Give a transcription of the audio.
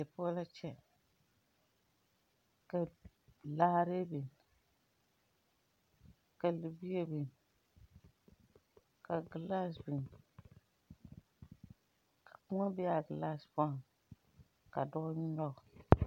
Die poɔ la kyɛ ka laare biŋ, ka libie biŋ, ka gyelaa biŋ ,ka kóɔ be a gyelaa poɔ ka dɔɔ nyoŋ.